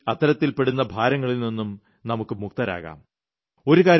പിഴയൊടുക്കി അത്തരത്തിൽപ്പെടുന്ന ഭാരങ്ങളിൽനിന്നും നമുക്ക് മുക്തരാകാം